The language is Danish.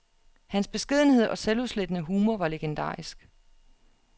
Hans beskedenhed og selvudslettende humor var legendarisk.